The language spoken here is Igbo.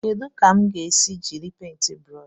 Kedu ka m ga-esi jiri paintị brụsh?